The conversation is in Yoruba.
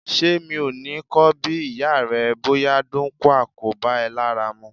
Ṣé mi ò ní ko bi ìyá rẹ bóyá dáńkúà kò bá ẹ lára mu?